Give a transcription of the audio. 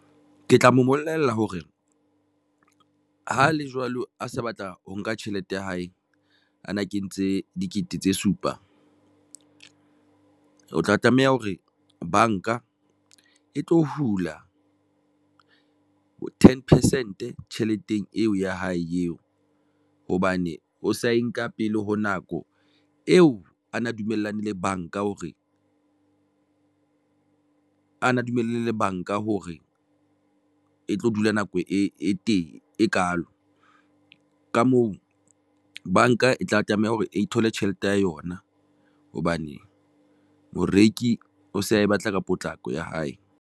Ke tla mobolella hore hale jwalo a se batla ho nka tjhelete ya hae, a na kentse dikete tse supa. O tla tlameha hore banka e tlo hula ten percent tjheleteng eo ya hae eo hobane o sa e nka pele ho nako eo. A na dumellane le banka hore a na dumellane le banka hore e tlo dula nako e teng e kalo ka moo, banka e tla tlameha hore e ithole tjhelete ya yona hobane moreki o se a batla ka potlako ya hae.